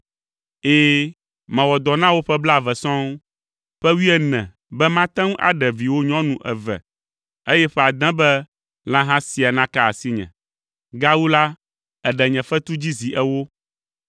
Ɛ̃, mewɔ dɔ na wò ƒe blaeve sɔŋ: ƒe wuiene be mate ŋu aɖe viwò nyɔnu eve, ƒe ade be lãha sia naka asinye! Gawu la, èɖe nye fetu dzi zi ewo.